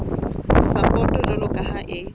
sapoto jwalo ka ha e